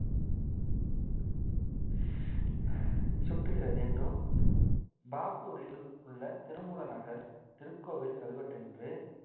சுட்டுகிறது என்றும் பாகூரில் உள்ள திருமூலநகர் திருக்கோவில் கல்வெட்டொன்று